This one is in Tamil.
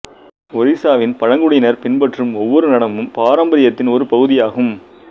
ஒரிசாவின் பழங்குடியினர் பின்பற்றும் ஒவ்வொரு நடனமும் பாரம்பரியத்தின் ஒரு பகுதியாகும்